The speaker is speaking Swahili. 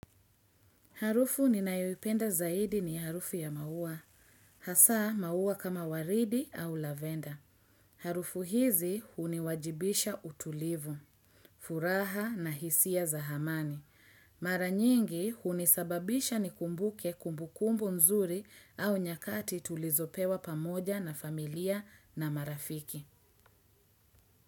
Harufu ninayoipenda zaidi ni harufu ya maua. Hasaa maua kama waridi au lavenda. Harufu hizi huniwajibisha utulivu, furaha na hisia za hamani. Mara nyingi hunisababisha nikumbuke kumbukumbu nzuri au nyakati tulizopewa pamoja na familia na marafiki.